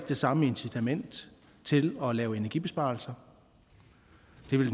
det samme incitament til at lave energibesparelser